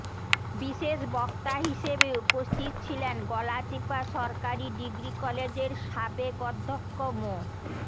বিশেষ বক্তা হিসেবে উপস্থিত ছিলেন গলাচিপা সরকারি ডিগ্রি কলেজের সাবেক অধ্যক্ষ মো